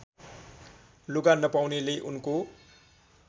लुगा नपाउनेले उनको